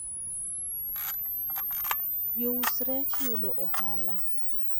jous rech yudo ohala